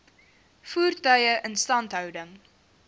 voertuie instandhouding